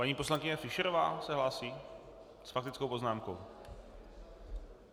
Paní poslankyně Fischerová se hlásí s faktickou poznámkou.